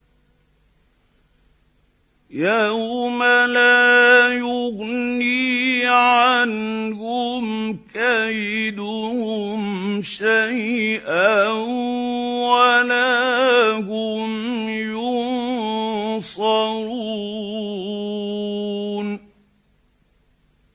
يَوْمَ لَا يُغْنِي عَنْهُمْ كَيْدُهُمْ شَيْئًا وَلَا هُمْ يُنصَرُونَ